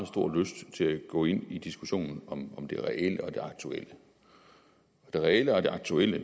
stor lyst til at gå ind i diskussionen om om det reelle og det aktuelle det reelle og det aktuelle